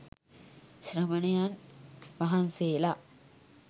ශ්‍රමණයන් වහන්සේලා